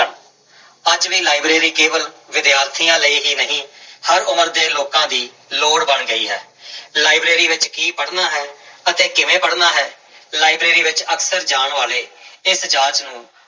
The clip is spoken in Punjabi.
ਅੱਜ ਵੀ ਲਾਇਬ੍ਰੇਰੀ ਕੇਵਲ ਵਿਦਿਆਰਥੀਆਂ ਲਈ ਹੀ ਨਹੀਂ ਹਰ ਉਮਰ ਦੇ ਲੋਕਾਂ ਦੀ ਲੋੜ ਬਣ ਗਈ ਹੈ ਲਾਇਬ੍ਰੇਰੀ ਵਿੱਚ ਕੀ ਪੜ੍ਹਨਾ ਹੈ ਅਤੇ ਕਿਵੇਂ ਪੜ੍ਹਨਾ ਹੈ, ਲਾਇਬ੍ਰੇਰੀ ਵਿੱਚ ਅਕਸਰ ਜਾਣ ਵਾਲੇ ਇਸ ਜਾਂਚ ਨੂੰ